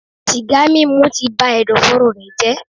Sìgá mímu ti ba ẹ̀dọ̀fóró rẹ̀ jẹ́.